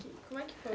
Como é que foi?